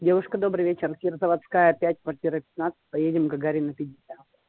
девушка добрый вечер химзаводская пять квартира пятнадцать поедем гагарина пятьдесят